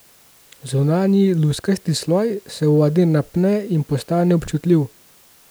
Zunanji, luskasti sloj se v vodi napne in postane občutljiv.